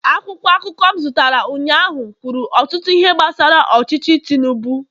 akwụkwọ akụkọ m zụtara ụnyaahụ kwuru ọtụtụ ihe gbasara ọchịchị tinubu